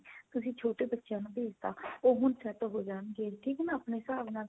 ਤੁਸੀਂ ਛੋਟੇ ਬੱਚਿਆਂ ਨੂੰ ਭੇਜ ਤਾਂ ਉਹ ਹੁਣ set ਹੋ ਜਾਣ ਗਏ ਠੀਕ ਆ ਨਾ ਆਪਣੇ ਹਿਸਾਬ ਨਾਲ